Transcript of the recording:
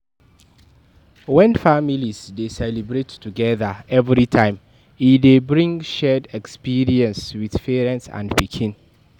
When families de celebrate togethger everytime e de bring shared experience with parents and pikin